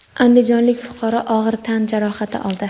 andijonlik fuqaro og‘ir tan jarohati oldi.